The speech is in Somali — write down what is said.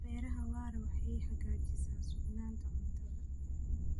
Beeraha waara waxay xaqiijisaa sugnaanta cuntada.